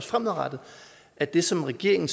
fremadrettet at det som regeringen